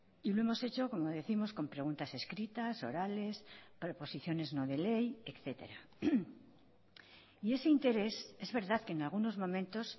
y lo hemos hecho como décimos con preguntas escritas orales proposiciones no de ley etcétera y ese interés es verdad que en algunos momentos